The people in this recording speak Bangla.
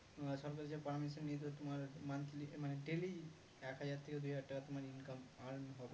সরকারকে permission নিতে তোমার monthly মানে daily এক হাজার থেকে দুই হাজার তোমার income earn হবে